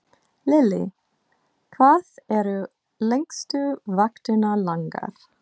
Lillý: Hvað eru lengstu vaktirnar langar?